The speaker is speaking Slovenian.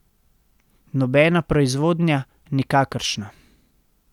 Nobena proizvodnja, nikakršna.